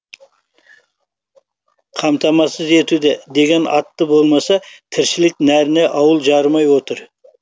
қамтасасыз етуде деген аты болмаса тіршілік нәріне ауыл жарымай отыр